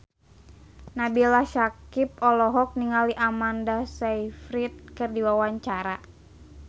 Nabila Syakieb olohok ningali Amanda Sayfried keur diwawancara